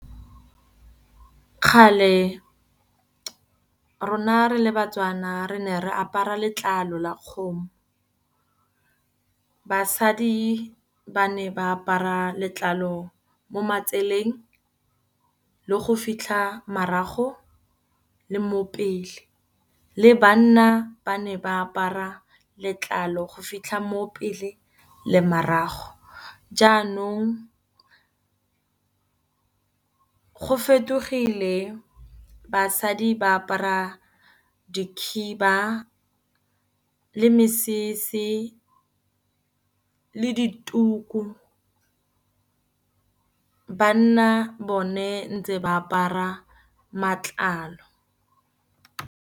Kgale rona re le Batswana re ne re apara letlalo la kgomo. Basadi ba ne ba apara letlalo mo matseleng le go fitlha marago le mo pele. Le banna ba ne ba apara letlalo go fitlha mo pele le marago, jaanong go fetogile basadi ba apara dikhiba le mesese le dituku, banna bone ntse ba apara matlalo.